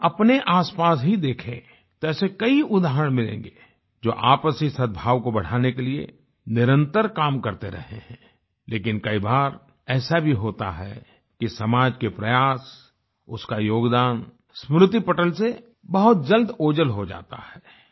हम अपने आसपास ही देखें तो ऐसे कई उदाहरण मिलेगें जो आपसी सदभाव को बढ़ाने के लिए निरंतर काम करते रहे हैं लेकिन कई बार ऐसा भी होता है कि समाज के प्रयास उसका योगदान स्मृति पटल से बहुत जल्द ओझल हो जाता है